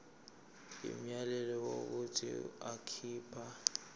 umyalelo wokuthi akhipha